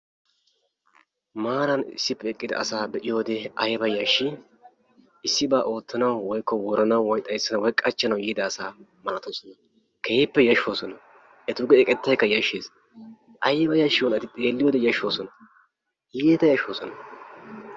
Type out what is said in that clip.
Maaran issippe eqqida asaa be'iyode ayba yashshii! Issibaa oottanawu woranawu woyi xayssanawu woyi qachchanawu yiida asaa malatoosona keehippe yashshoosona etuugee eqettaykka yashshes ayba yashshiyonaabeti xeelliyode yashshoosona iita yashshoosona.